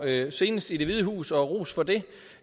med senest i det hvide hus og ros for det